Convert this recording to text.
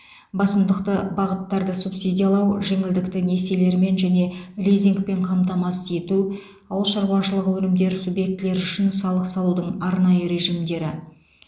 басымдықты бағыттарды субсидиялау жеңілдікті несиелермен және лизингпен қамтамасыз ету ауыл шаруашылығы өнімдері субъектілері үшін салық салудың арнайы режимдері